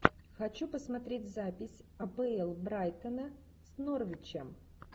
хочу посмотреть запись апл брайтона с норвичем